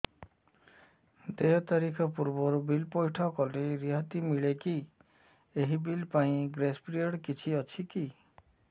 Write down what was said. ଦେୟ ତାରିଖ ପୂର୍ବରୁ ବିଲ୍ ପୈଠ କଲେ ରିହାତି ମିଲେକି ଏହି ବିଲ୍ ପାଇଁ ଗ୍ରେସ୍ ପିରିୟଡ଼ କିଛି ଅଛିକି